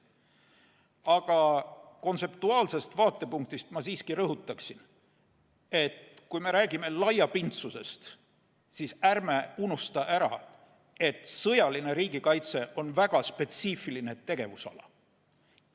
Aga kontseptuaalsest vaatepunktist ma siiski rõhutan, et kui me räägime laiapindsusest, siis ärme unustame ära, et sõjaline riigikaitse on väga spetsiifiline tegevusala.